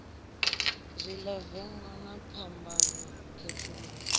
zwala vengo na phambano khethululo